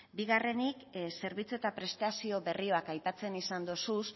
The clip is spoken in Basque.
bigarrenik zerbitzu eta prestazio berriak aipatzen izan dituzu